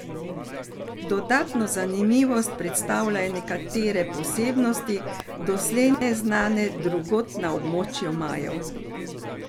Dodatno zanimivost predstavljajo nekatere posebnosti, doslej neznane drugod na območju Majev.